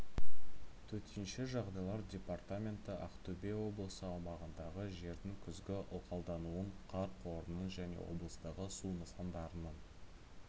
төтенше жағдайлар департаменті ақтөбе облысы аумағындағы жердің күзгі ылғалдануын қар қорының және облыстағы су нысандарының